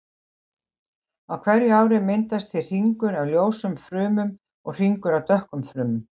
Á hverju ári myndast því hringur af ljósum frumum og hringur af dökkum frumum.